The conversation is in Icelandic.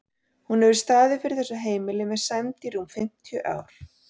Hún hefur staðið fyrir þessu heimili með sæmd í rúm fimmtíu ár.